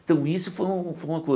Então isso foi um foi uma